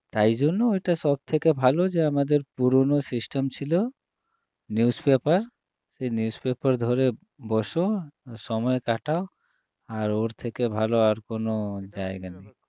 তাইজন্য ওটা সবথেকে ভালো যে আমাদের পুরোনো system ছিল news paper সেই news paper ধরে বসো সময় কাটাও আর ওর থেকে ভালো আর কোনো জায়গা নেই